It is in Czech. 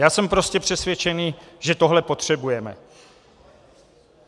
Já jsem prostě přesvědčený, že tohle potřebujeme.